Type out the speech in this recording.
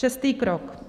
Šestý krok.